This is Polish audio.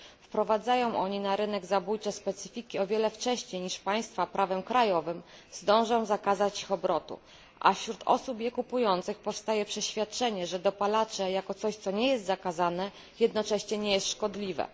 Wprowadzają oni na rynek zabójcze specyfiki o wiele wcześniej niż państwa prawem krajowym zdążą zakazać ich obrotu, a wśród osób je kupujących powstaje przeświadczenie, że dopalacze jako coś, co nie jest zakazane, jednocześnie nie jest szkodliwe.